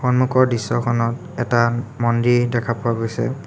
সন্মুখৰ দৃশ্যখনত এটা মন্দিৰ দেখা পোৱা গৈছে।